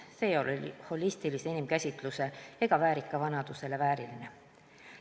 See ei ole holistilise inimkäsitluse ega väärika vanaduse vääriline.